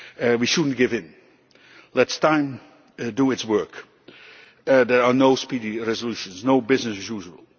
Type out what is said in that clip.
We should not give in let time do its work. There are no speedy resolutions, no business as usual.